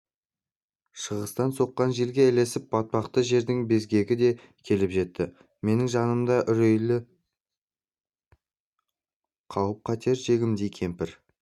шығыстан соққан желге ілесіп батпақты жердің безгегі де келіп жетті менің жанымды үрейлі қауіп-қатер жегідей кеміріп